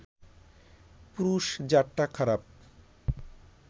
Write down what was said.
পুরুষ-জাতটা খারাপ